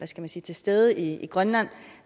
sige til stede i grønland